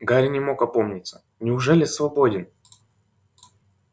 гарри не мог опомниться неужели свободен